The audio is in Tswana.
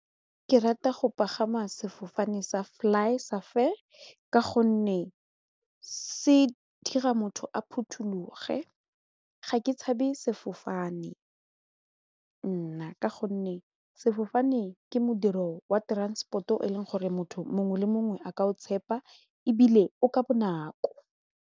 Ke rata go pagama sefofane sa fly gonne se dira motho a phuthologe ga ke tshabe sefofane nna ka gonne sefofane ke modiro wa transport-o e leng gore motho mongwe le mongwe a ka o tshepa ebile o ka bonako.